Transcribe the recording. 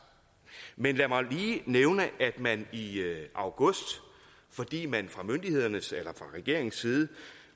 men lad mig lige nævne at man i august fordi man fra regeringens side